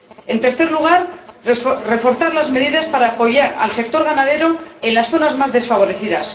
en tercer lugar, reforzar las medidas para apoyar al sector ganadero en las zonas más desfavorecidas